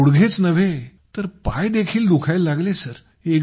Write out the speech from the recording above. अशाने गुडघेच नव्हे तर पायदेखील दुखायला लागले